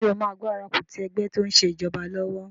Ṣé o máa gbárùkù ti ẹgbẹ́ tó n ṣe ìjọba lọ́wọ́?